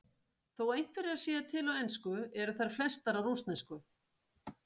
Þó einhverjar séu til á ensku eru þær flestar á rússnesku.